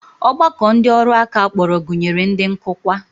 Ọgbakọ ndị ọrụ aka a kpọrọ gụnyere ndị nkụkwa